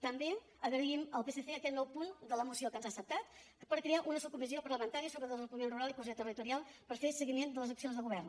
també agraïm al psc aquest nou punt de la moció que ens ha acceptat per crear una subcomissió parlamentària sobre el desenvolupament rural i cohesió territorial per fer seguiment de les accions de govern